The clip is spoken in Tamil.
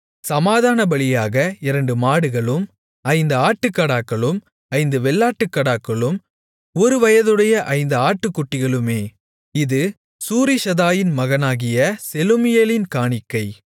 சமாதானபலியாக இரண்டு மாடுகளும் ஐந்து ஆட்டுக்கடாக்களும் ஐந்து வெள்ளாட்டுக்கடாக்களும் ஒருவயதுடைய ஐந்து ஆட்டுக்குட்டிகளுமே இது சூரிஷதாயின் மகனாகிய செலூமியேலின் காணிக்கை